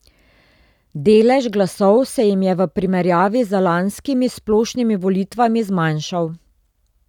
Delež glasov se jim je v primerjavi z lanskimi splošnimi volitvami zmanjšal.